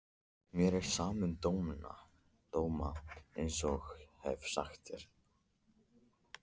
Mér er sama um dóma einsog ég hef sagt þér.